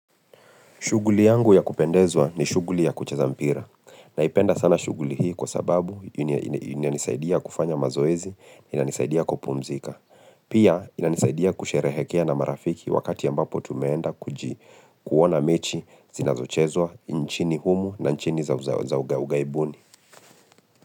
Shughuli yangu ya kupendezwa ni shuguli ya kucheza mpira. Naipenda sana shughuli hii kwa sababu ina ina inanisaidia kufanya mazoezi, inanisaidia kupumzika. Pia inanisaidia kusherehekea na marafiki wakati ambapo tumeenda kuji kuona mechi zinazochezwa nchini humu na nchini za za za ughaibuni.